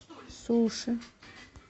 суши